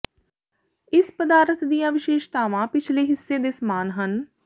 ਇਸ ਪਦਾਰਥ ਦੀਆਂ ਵਿਸ਼ੇਸ਼ਤਾਵਾਂ ਪਿਛਲੇ ਹਿੱਸੇ ਦੇ ਸਮਾਨ ਹਨ